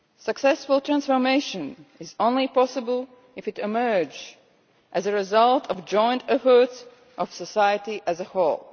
Successful transformation is only possible if it emerges as a result of joint efforts of society as a whole.